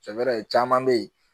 caman bɛ yen